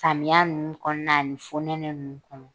Samiya nunnu kɔɔna ani fonɛnɛ nunnu kɔnɔ.